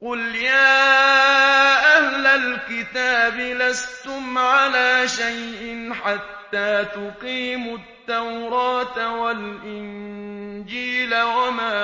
قُلْ يَا أَهْلَ الْكِتَابِ لَسْتُمْ عَلَىٰ شَيْءٍ حَتَّىٰ تُقِيمُوا التَّوْرَاةَ وَالْإِنجِيلَ وَمَا